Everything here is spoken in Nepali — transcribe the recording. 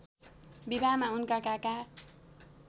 विवाहमा उनका काका